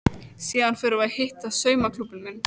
Síðan förum við að hitta saumaklúbbinn minn.